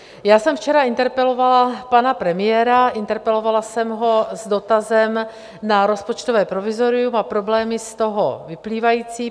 Já jsem včera interpelovala pana premiéra, interpelovala jsem ho s dotazem na rozpočtové provizorium a problémy z toho vyplývající.